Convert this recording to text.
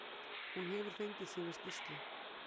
Hún hefur fengið sína skýrslu.